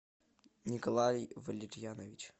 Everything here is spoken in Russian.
николай валерьянович